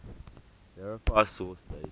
verify source date